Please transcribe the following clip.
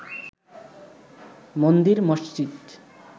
মন্দির মসজিদ